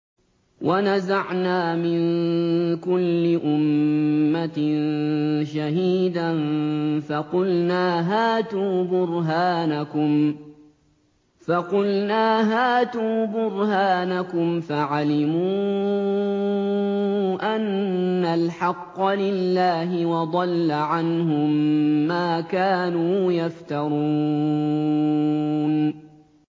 وَنَزَعْنَا مِن كُلِّ أُمَّةٍ شَهِيدًا فَقُلْنَا هَاتُوا بُرْهَانَكُمْ فَعَلِمُوا أَنَّ الْحَقَّ لِلَّهِ وَضَلَّ عَنْهُم مَّا كَانُوا يَفْتَرُونَ